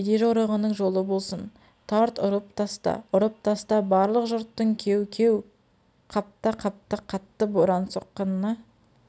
кедей жорығының жолы болсын тарт ұрып таста ұрып таста барлық жұрттың кеу-кеу қапта-қаптаа қатты боран соққынына